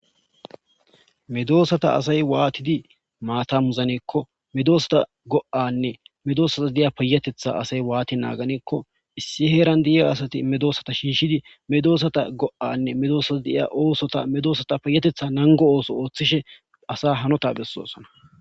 Medoosata asay waatidi maata muzanekko medoosata go7anne medoosata de7ya peyatetha asay waati naaganekko issi heeran diiya asati medoosata shinshidi medoosata go7anne medoosata deiya oosota medoosata peyatetha nango ooso ooththishe asa hanota bessoosana.